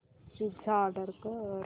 pizza order कर